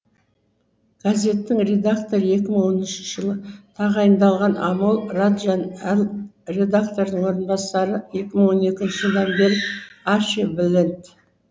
газеттің редакторы екі мың он үшінші жылы тағайындалған амол раджан ал редактордың орынбасары екі мың он екінші жылдан бері арчи блэнд